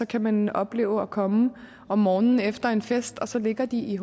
kan man opleve at komme om morgenen efter en fest og så ligger de